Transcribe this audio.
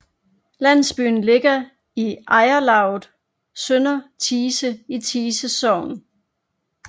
Landsbyen ligger i ejerlavet Sønder Thise i Thise Sogn